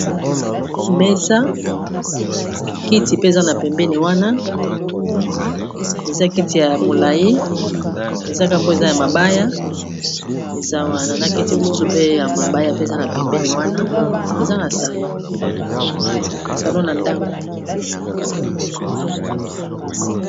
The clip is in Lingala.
mesa kiti pe eza na pembeni wana eza kiti ya molai ezaka po eza ya mabaya eza wana na kiti mosusu pe ya mabaya pe eza na pembeni wana eza na salon salon ya ndako